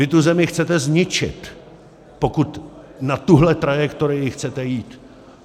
Vy tu zemi chcete zničit, pokud na tuhle trajektorii chcete jít!